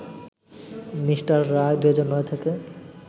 Me. Roy ২০০৯ থেকে